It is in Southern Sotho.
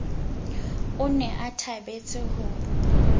o ne a thabetse ho